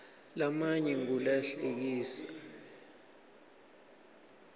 lamanye ngula hlekisako